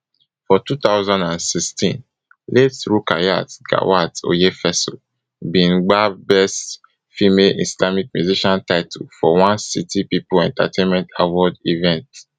for two thousand and sixteen late rukayat gawat oyefeso bin gbab best female islamic musician title for one city people entertainment award event